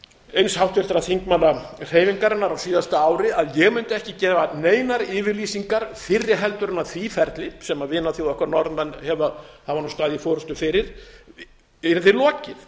eins háttvirtra þingmanna hreyfingarinnar á síðasta ári að ég mundi ekki gefa neinar yfirlýsingar fyrri heldur en því ferli sem vinaþjóð okkar norðmenn hafa nú staðið í forustu fyrir yrði lokið